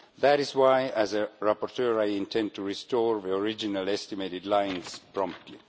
That is why as a rapporteur I intend to restore the original estimated lines promptly.